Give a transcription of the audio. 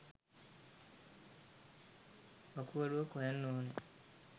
වකුගඩුවක් හොයන්න ඕන.